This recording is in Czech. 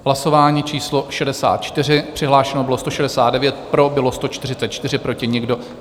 Hlasování číslo 64, přihlášeno bylo 169, pro bylo 144, proti nikdo.